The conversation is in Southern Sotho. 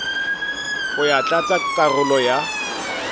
ho ya tlatsa karolo ya